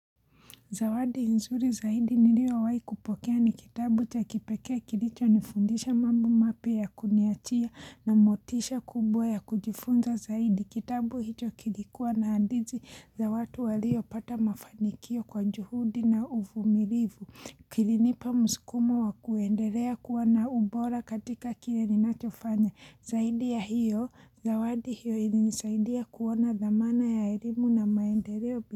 Zawadi nzuri zaidi niliowai kupokea ni kitabu cha kipekee kilicho nifundisha mambo mapya ya kuniachia na motisha kubwa ya kujifunza zaidi. Kitabu hicho kilikuwa na andizi za watu waliopata mafanikio kwa njuhudi na uvumilivu. Kilinipa mskumo wa kuenderea kuwa na ubora katika kile ninachofanya. Zaidi ya hiyo, zawadi hiyo ilinisaidia kuona dhamana ya erimu na maendereo.